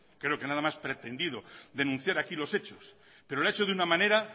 creo que nada más pretendido denunciar aquí los hechos pero lo ha hecho de una manera